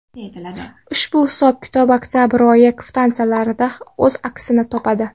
Ushbu hisob-kitob oktabr oyi kvitansiyalarida o‘z aksini topadi.